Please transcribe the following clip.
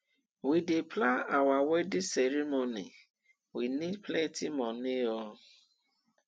we dey plan our wedding ceremony we need plenty moni o